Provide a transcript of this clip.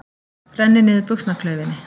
Rennir niður buxnaklaufinni.